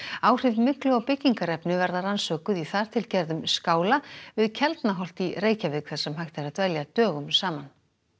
áhrif myglu á byggingarefni verða rannsökuð í þar til gerðum skála við í Reykjavík þar sem hægt er að dvelja dögum saman